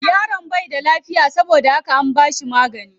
Yaron bai da lafiya saboda haka an bashi magani.